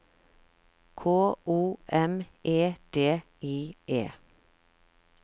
K O M E D I E